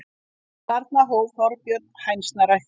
Þarna hóf Þorbjörn hænsnarækt.